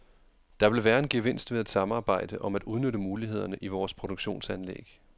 Der vil være en gevinst ved at samarbejde om at udnytte mulighederne i vores produktionsanlæg.